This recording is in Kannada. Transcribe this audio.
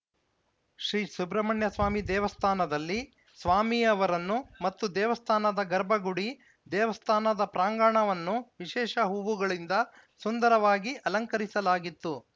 ಶ್ರೀ ಸುಬ್ರಹಣ್ಯಸ್ವಾಮಿ ದೇವಸ್ಥಾನದಲ್ಲಿ ಸ್ವಾಮಿ ಅವರನ್ನು ಮತ್ತು ದೇವಸ್ಥಾನದ ಗರ್ಭಗುಡಿ ದೇವಸ್ಥಾನದ ಪ್ರಾಂಗಣವನ್ನು ವಿಶೇಷ ಹೂವುಗಳಿಂದ ಸುಂದರವಾಗಿ ಅಲಂಕರಿಸಲಾಗಿತ್ತು